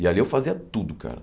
E ali eu fazia tudo, cara.